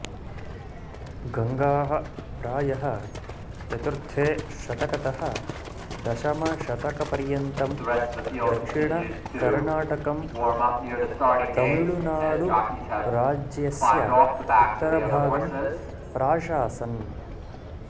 गङ्गाः प्रायः चतुर्थे शतकतः दशमशतकपर्यन्तं दक्षिणकर्णातकम् तमिळुनाडुराज्यस्य उत्तरभागं प्राशासन्